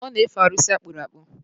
Ọ na-efe arụsị akpụrụ akpụ